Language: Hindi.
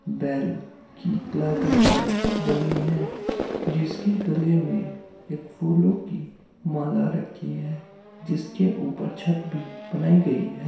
बैल की कलाकृति बनी है जिसके गले में एक फूलों की माला रखी है | जिसके ऊपर छत भी बनाई गई है।